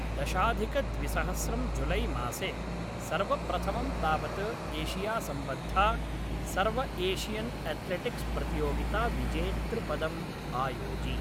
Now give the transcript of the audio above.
दशाधिकद्विसहस्रं जुलैमासे, सर्वप्रथमं तावत् एशियासम्बद्धा सर्वएशियन्एथ्लेटिक्स् प्रतियोगिताविजेतृपदम् आयोजि।